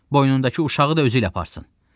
Boynundakı uşağı da özüylə aparsın.